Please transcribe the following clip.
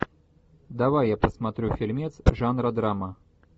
давай я посмотрю фильмец жанра драма